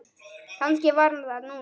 Kannski var hann þar núna.